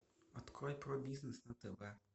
открой про бизнес на тв